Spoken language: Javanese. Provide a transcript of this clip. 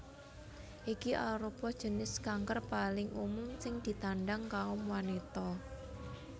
Iki arupa jinis kanker paling umum sing ditandhang kaum wanita